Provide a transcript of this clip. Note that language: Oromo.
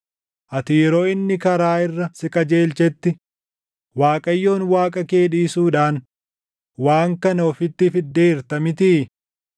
Ati yeroo inni karaa irra si qajeelchetti, Waaqayyoon Waaqa kee dhiisuudhaan waan kana ofitti fiddeerta mitii?